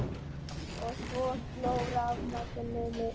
Og svo sló rafmagninu út.